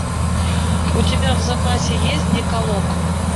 у тебя в запасе есть декалог